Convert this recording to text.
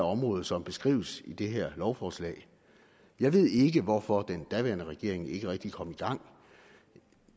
område som beskrives i det her lovforslag jeg ved ikke hvorfor den daværende regering ikke rigtig kom i gang